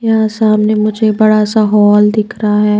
यहां सामने मुझे बड़ा सा हॉल दिख रहा है।